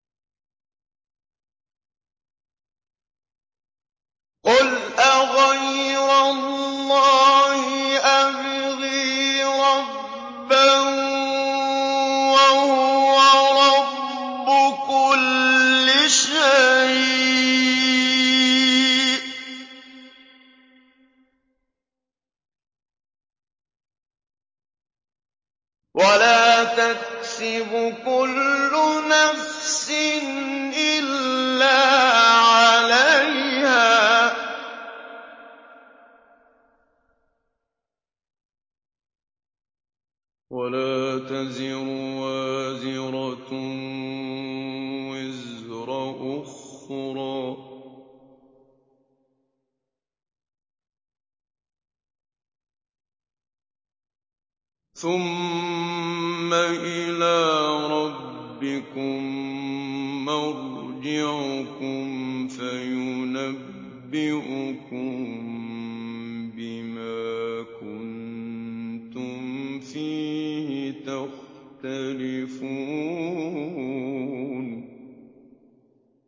قُلْ أَغَيْرَ اللَّهِ أَبْغِي رَبًّا وَهُوَ رَبُّ كُلِّ شَيْءٍ ۚ وَلَا تَكْسِبُ كُلُّ نَفْسٍ إِلَّا عَلَيْهَا ۚ وَلَا تَزِرُ وَازِرَةٌ وِزْرَ أُخْرَىٰ ۚ ثُمَّ إِلَىٰ رَبِّكُم مَّرْجِعُكُمْ فَيُنَبِّئُكُم بِمَا كُنتُمْ فِيهِ تَخْتَلِفُونَ